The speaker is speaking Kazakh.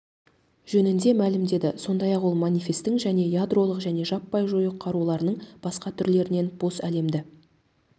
жөнінде мәлімдеді сондай-ақ ол манифесттің және ядролық және жаппай жою қаруларының басқа түрлерінен бос әлемді